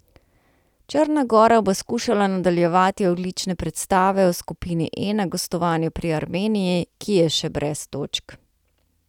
Črna gora bo skušala nadaljevati odlične predstave v skupini E na gostovanju pri Armeniji, ki je še brez točk.